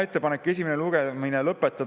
Ettepanek esimene lugemine lõpetada.